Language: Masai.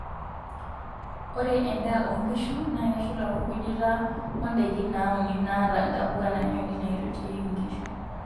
Ore endaa onkishu na keshula orkujita oo ndaikin nauni naata ntapuka naanyori naaitotiyieki inkishu.